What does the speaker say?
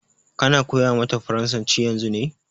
Ka na koya mata farasanci yanzu ne?